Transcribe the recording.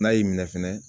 N'a y'i minɛ fɛnɛ